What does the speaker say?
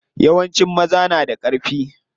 Yawancin maza na da ƙarfi.